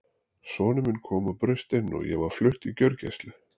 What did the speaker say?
Sonur minn kom og braust inn og ég var flutt á gjörgæslu.